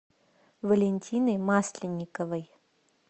валентиной масленниковой